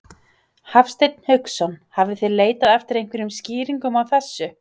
Hafsteinn Hauksson: Hafið þið leitað eftir einhverjum skýringum á þessu?